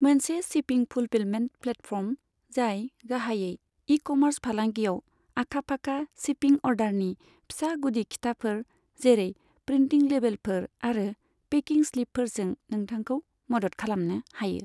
मोनसे shipping fulfilment platform, जाय गाहायै इ कमार्स फालांगियाव आखा फाखा, शिपिं अर्डारनि फिसा गुदि खिथाफोर जेरै प्रिन्टिं लेबेलफोर आरो पेकिं स्लिपफोरजों नोंथांखौ मदद खालामनो हायो।